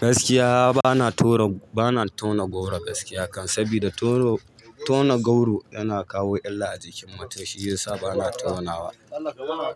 Gaskiya bana tauna goro gaskiya kam, saboda tauna goro yana kawo illa a jikin mutum shiyasa bana taunawa,